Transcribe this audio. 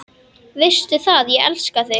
Veistu það, ég elska þig.